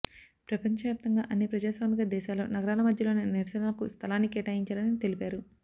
ప్రపంచవ్యాప్తంగా అన్ని ప్రజాస్వామిక దేశాల్లో నగరాల మధ్యలోనే నిరసనలకు స్థలాన్ని కేటాయించారని తెలిపారు